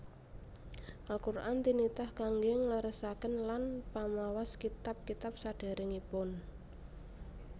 Al Qur an tinitah kangge ngleresaken lan pamawas kitab kitab saderengipun